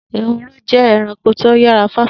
Ehoro jẹ́ ẹranko tó yára fáfá